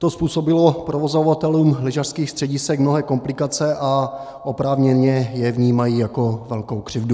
To způsobilo provozovatelům lyžařských středisek mnohé komplikace a oprávněně je vnímají jako velkou křivdu.